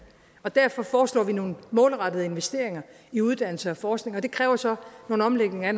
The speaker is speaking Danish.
derfor foreslår vi nogle målrettede investeringer i uddannelse og forskning og det kræver så nogle omlægninger af